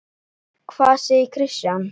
Hvað segir Kristján?